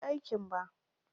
Ban je aikin ba.